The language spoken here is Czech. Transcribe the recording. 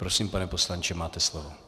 Prosím, pane poslanče, máte slovo.